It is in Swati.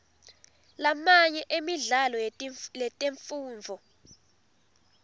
lamanye emidlalo yetemfundvo